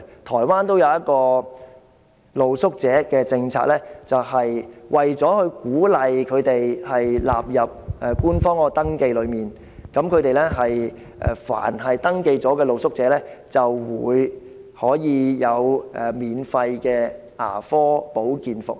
台灣有一項露宿者政策，就是為了鼓勵露宿者進行官方登記，凡是已登記的露宿者，便可享免費的牙科保健服務。